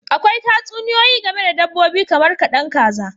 Akwai Tatsuniyoyi game da dabbobi kamar kadan kaza